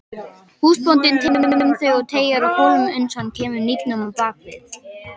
Húsbóndinn tekur um þau og teygir á kólfunum uns hann kemur hnífnum á bak við.